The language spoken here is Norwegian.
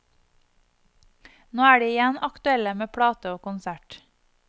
Nå er de igjen aktuelle med plate og konsert.